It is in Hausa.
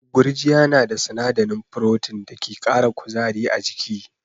Gurjiya na da sinadarin Protein da ke kara kuzari a jiki.